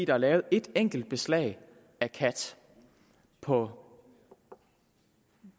er lavet et enkelt beslag af kat på